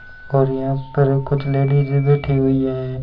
और यहां पर कुछ लेडीज बैठी हुईं हैं।